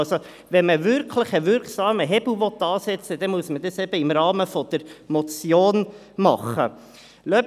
Will man wirklich einen wirksamen Hebel ansetzen, muss dies eben im Rahmen der Motion erfolgen.